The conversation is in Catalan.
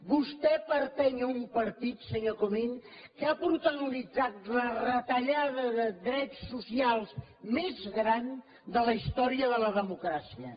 vostè pertany a un partit senyor comín que ha protagonitzat la retallada de drets socials més gran de la història de la democràcia